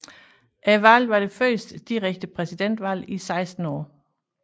Valget var det første direkte præsidentvalg i 16 år